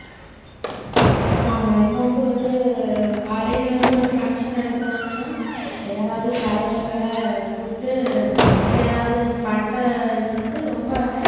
ஆமா இப்ப வந்து ஒரு college ல வந்து ஒரு function நடத்துனாங்கன்னா யாராவது கலைஞர்களை கூப்பிட்டு அவங்க எதாவது பண்ற இது வந்து ரொம்ப